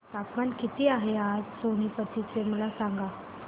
तापमान किती आहे आज सोनीपत चे मला सांगा